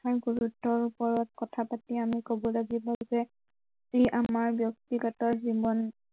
গুৰুত্ৱৰ ওপৰত কথা পাতি আমি কব লাগিব যে ই আমাৰ ব্য়ক্তিগত জীৱন